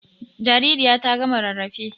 Jaririya ta gama rarrafe.